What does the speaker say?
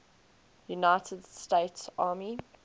united states army